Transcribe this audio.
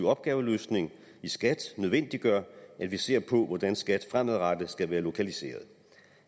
opgaveløsning i skat nødvendiggør at vi ser på hvordan skat fremadrettet skal være lokaliseret